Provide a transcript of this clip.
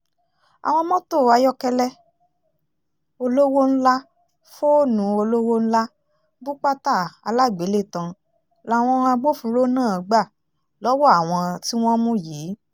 àwọn mọ́tò ayọ́kẹ́lẹ́ olówó ńlá fóònù olówó ńlá bùpàtà alágbélétan làwọn agbófinró náà gbà lọ́wọ́ àwọn tí wọ́n mú yìí